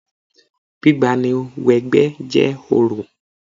Gbígba ni wẹ 'gbẹ́ jẹ́ orò